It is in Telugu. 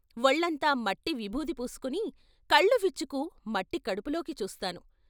వొళ్ళంతా మట్టి విభూది పూసుకుని కళ్ళు విచ్చుకు మట్టి కడుపులోకి చూస్తాను.